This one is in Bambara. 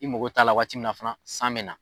I mako t'a la waati min na fana san bɛ na.